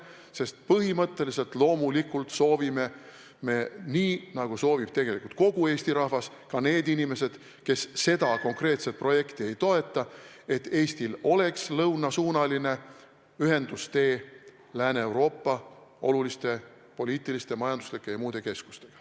Sest põhimõtteliselt loomulikult soovime me nii, nagu soovib tegelikult kogu Eesti rahvas, ka need inimesed, kes seda konkreetset projekti ei toeta, et Eestil oleks lõunasuunaline ühendustee Lääne-Euroopa oluliste poliitiliste, majanduslike ja muude keskustega.